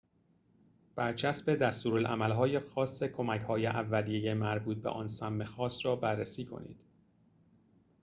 برچسب دستورالعمل‌های خاص کمک‌های اولیه مربوط به آن سم خاص را بررسی کنید